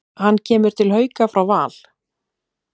Hann kemur til Hauka frá Val.